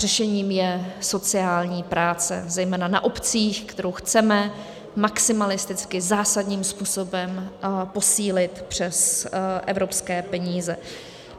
Řešením je sociální práce zejména na obcích, kterou chceme maximalisticky zásadním způsobem posílit přes evropské peníze.